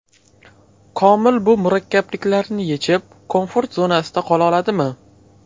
Komil bu murakkabliklarni yechib, komfort zonasida qola oladimi?